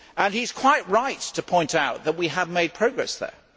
He is quite right to point out that we have made progress there.